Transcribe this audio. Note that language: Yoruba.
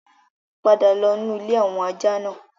Padà lọ nu ilé àwọn ajá náà!